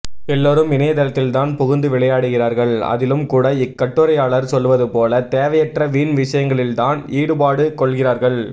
எல்லோரும் இணைய தளத்தில்தான் புகுந்து விளையாடுகிறார்கள் அதிலும் கூட இக்கட்டுரையாளர் சொல்வது போல தேவையற்ற வீண் விஷயங்களில்தான் ஈடுபாடு கொள்கிறார்கள்